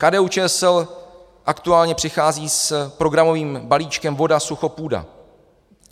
KDU-ČSL aktuálně přichází s programovým balíčkem VODA-SUCHO-PŮDA.